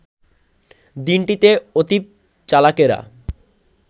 দিনটিতে অতীব চালাকেরা